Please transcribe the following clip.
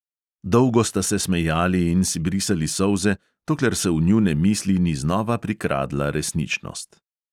Dolgo sta se smejali in si brisali solze, dokler se v njune misli ni znova prikradla resničnost.